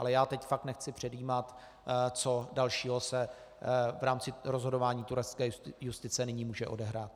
Ale já teď fakt nechci předjímat, co dalšího se v rámci rozhodování turecké justice nyní může odehrát.